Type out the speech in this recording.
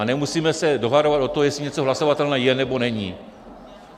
A nemusíme se dohadovat o tom, jestli něco hlasovatelné je, nebo není.